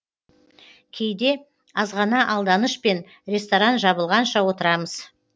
кейде азғана алданышпен ресторан жабылғанша отырамыз